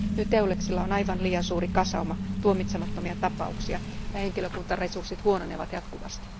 Nyt EULEXilla on aivan liian suuri kasauma tuomitsemattomia tapauksia ja henkilökuntaresurssit huononevat jatkuvasti.